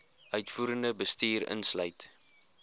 uitvoerende bestuur insluit